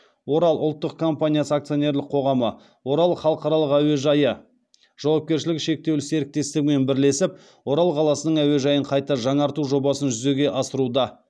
орал ұлттық компаниясы акционерлік қоғамы орал халықаралық әуежайы жауапкершілігі шектеулі серіктестігімен бірлесіп орал қаласының әуежайын қайта жаңарту жобасын жүзеге асыруда